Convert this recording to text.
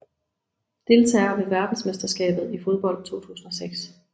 Deltagere ved verdensmesterskabet i fodbold 2006